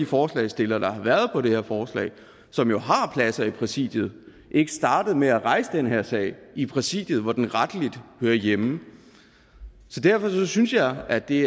forslagsstillerne på det her forslag som jo har pladser i præsidiet ikke startede med at rejse den her sag i præsidiet hvor den rettelig hører hjemme derfor synes jeg at det